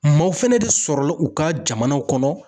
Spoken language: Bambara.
Maaw fɛnɛ de sɔrɔla u ka jamanaw kɔnɔ.